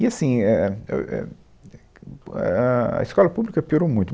E assim, é é eu é pu ah ah, a escola pública piorou muito.